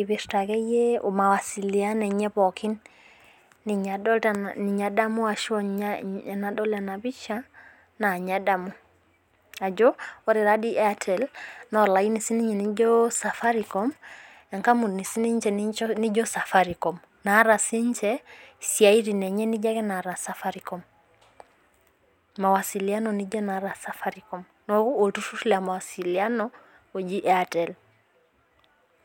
ipirta akeyie mawasiliano enye pookin. Ninye adamu ashu ninye enadol ena pisha naa ninye adamu ajo ore taadii airtel naa olaini siininye lijo safaricom enkampuni siininche nijo Safaricom etaa siininche isiaitin naijo ake inaata Safaricom, mawasiliano nijo enaata Safaricom. Neeku olturrurr le mawasiliano oji Airtel